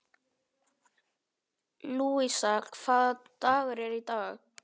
Lúísa, hvaða dagur er í dag?